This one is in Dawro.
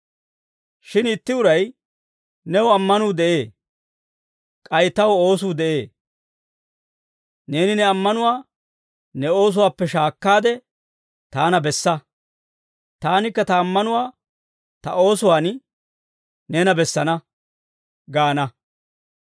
Shin itti uray, «New ammanuu de'ee; k'ay taw oosuu de'ee. Neeni ne ammanuwaa ne oosuwaappe shaakkaade taana bessa; taanikka ta ammanuwaa ta oosuwaan neena bessana» gaana.